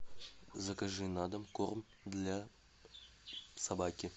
закажи на дом корм для собаки